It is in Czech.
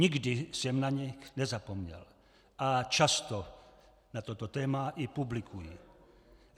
Nikdy jsem na ně nezapomněl a často na toto téma i publikuji.